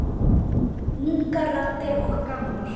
Ungar raddir og gamlar.